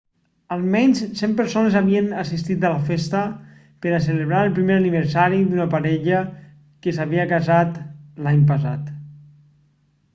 almenys 100 persones havien assistit a la festa per a celebrar el primer aniversari d'una parella que s'havia casat l'any passat